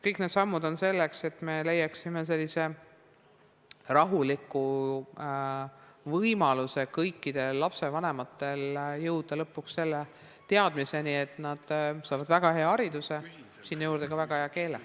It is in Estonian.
Kõik need sammud on selleks, et me leiaksime sellise rahuliku võimaluse kõikidel lapsevanematel jõuda lõpuks selle teadmiseni, et nad saavad väga hea hariduse, sinna juurde ka väga hea keele.